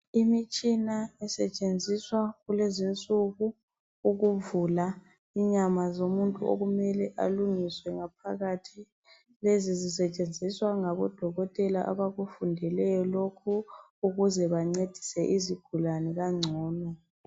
imitshina etshenziswa kulezinsuku ukuvula inyma zomuntu okumele alungiswe ngaphakathi lezisetshenziswa ngabodokotela aba kufundeleyo lokhu ukuze bancedise izigulane kangcono